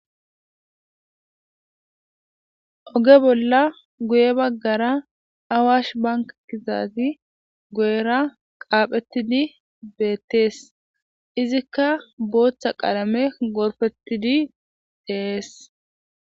oge bolla guye baggara awash bankakizaazi guyera qaaphettidi beettees izikka bootha qalame gorfettidi dees